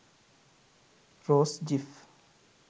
rose gif